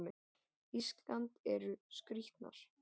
Ísland eru skrýtnar.